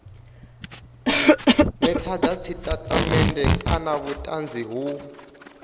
netshedza tshitatamennde kana vhutanzi ho